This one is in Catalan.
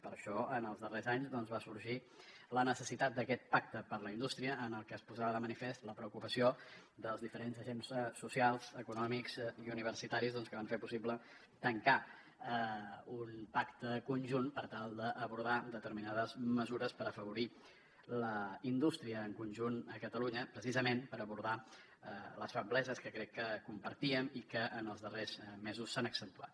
per això en els darrers anys va sorgir la necessitat d’aquest pacte per a la indústria en el que es posava de manifest la preocupació dels diferents agents socials econòmics i universitaris que van fer possible tancar un pacte conjunt per tal d’abordar determinades mesures per afavorir la indústria en conjunt a catalunya precisament per abordar les febleses que crec que compartíem i que en els darrers mesos s’han accentuat